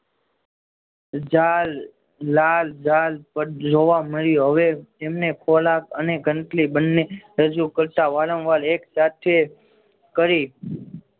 ઝાડ લાલ ઝાડ પર જોવા મળ્યું હવે તેમને ખોરાક અને ગંદકી બંને રજૂ કરતા વારંવાર એક સાથે કરી.